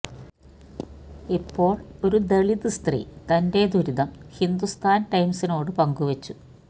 ഇപ്പോള് ഒരു ദളിത് സ്ത്രീ തന്റെ ദുരിതം ഹിന്ദുസ്ഥാന് ടൈംസിനോട് പങ്കുവെച്ചു